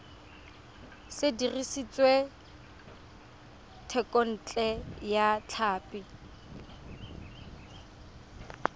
se dirisitswe thekontle ya tlhapi